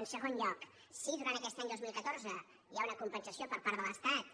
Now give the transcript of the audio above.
en segon lloc si durant aquest any dos mil catorze hi ha una compensació per part de l’estat